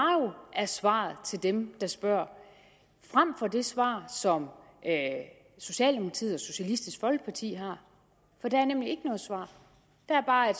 er svaret til dem der spørger frem for det svar som socialdemokratiet og socialistisk folkeparti har for der er nemlig ikke noget svar der er bare en